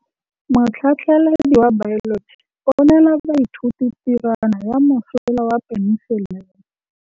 Motlhatlhaledi wa baeloji o neela baithuti tirwana ya mosola wa peniselene.